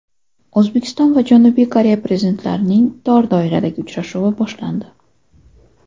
O‘zbekiston va Janubiy Koreya Prezidentlarining tor doiradagi uchrashuvi boshlandi.